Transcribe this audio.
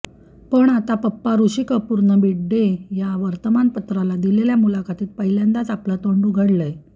पण आता पप्पा ऋषी कपूरनं मिडडे या वर्तमानपत्राला दिलेल्या मुलाखतीत पहिल्यांदाच आपलं तोंड उघडलंय